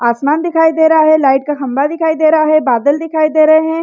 आसमान दिखाई दे रहा है लाइट का खंम्बा दिखाई दे रहा है बादल दिखाई दे रहा है।